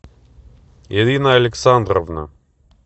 ирина александровна